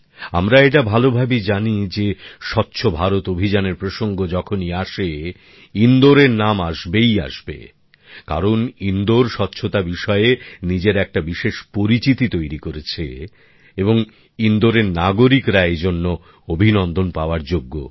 আমরা এটা ভালভাবেই জানি যে স্বচ্ছ ভারত অভিযানের প্রসঙ্গ যখনই আসে ইন্দোরের নাম আসবেই আসবে কারণ ইন্দোর স্বচ্ছতা বিষয়ে নিজের একটা বিশেষ পরিচিতি তৈরি করেছে এবং ইন্দোরের নাগরিকরা এজন্য অভিনন্দন পাওয়ার যোগ্য